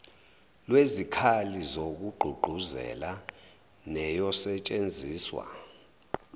lwezikhali zokugqugquzela neyosetshenziswa